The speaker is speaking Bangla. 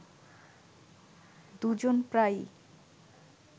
দুজন প্রায়ই